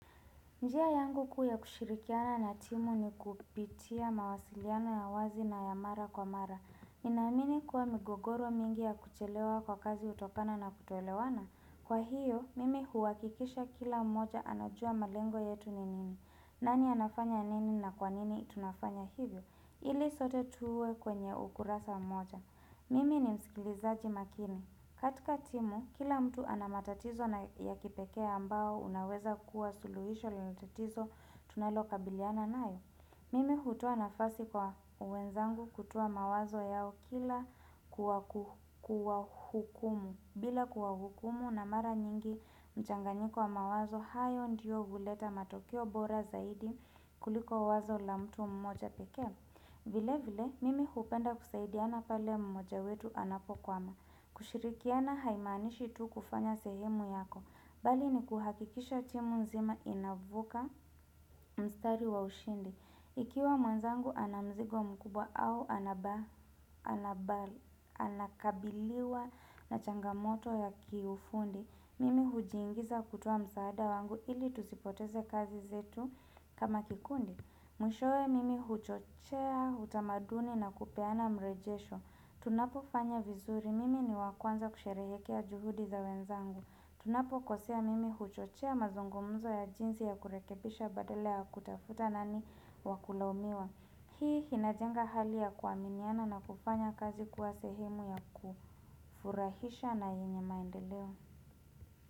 Njia yangu kuu ya kushirikiana na timu ni kupitia mawasiliano ya wazi na ya mara kwa mara. Ninaamini kua migogoro mingi ya kuchelewa kwa kazi hutokana na kutoelewana. Kwa hiyo, mimi huakikisha kila moja anajua malengo yetu ni nini. Nani anafanya nini na kwa nini tunafanya hivyo? Ili sote tuwe kwenye ukurasa moja. Mimi ni msikilizaji makini. Katika timu, kila mtu anamatatizo na ya kipekee ambao unaweza kuwa suluhisho l tatizo tunaloka biliana nayo. Mimi hutoa nafasi kwa wenzangu kutoa mawazo yao kila kuwaku kuwa kuhukumu. Bila kuwa hukumu na mara nyingi mchanganyiko wa mawazo, hayo ndiyo huleta matokeo bora zaidi kuliko wazo la mtu mmoja pekee. Vile vile, mimi hupenda kusaidiana pale mmoja wetu anapokwama, kushirikiana haimaanishi tu kufanya sehemu yako, bali ni kuhakikisha timu nzima inavuka mstari wa ushindi. Ikiwa mwenzangu anamzigo mkubwa au anaba anabali, anakabiliwa na changamoto ya kiufundi. Mimi hujiingiza kutoa msaada wangu ili tusipoteze kazi zetu kama kikundi. Mwishoe, mimi huchochea, utamaduni na kupeana mrejesho. Tunapo fanya vizuri, mimi ni wakwanza kusherehekea juhudi za wenzangu. Tunapo kosea mimi huchochea mazungumzo ya jinsi ya kurekebisha badala ya kutafuta nani wakulaumiwa. Hii hinajenga hali ya kuaminiana na kufanya kazi kuwa sehemu ya kufurahisha na yenye maendeleo.